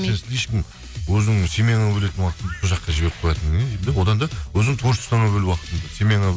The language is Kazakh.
сен слишком өзіңнің семьяңа бөлетін уақытыңды сол жаққа жіберіп қоятын не деймін де одан да өзіңнің творчестваңа бөл уақытыңды семьяңа